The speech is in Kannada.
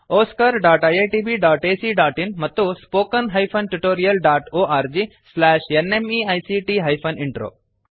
oscariitbacಇನ್ ಮತ್ತು spoken tutorialorgnmeict ಇಂಟ್ರೋ